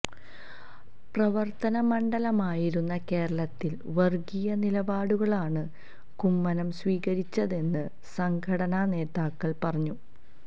പ്രവര്ത്തനമണ്ഡലമായിരുന്ന കേരളത്തില് വര്ഗീയ നിലപാടുകളാണ് കുമ്മനം സ്വീകരിച്ചതെന്ന് സംഘടനാ നേതാക്കള് പറഞ്ഞു